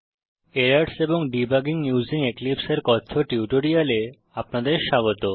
errors and debugging using এক্লিপসে এর টিউটোরিয়ালে আপনাদের স্বাগত